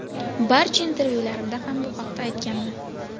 Barcha intervyularimda ham bu haqda aytganman.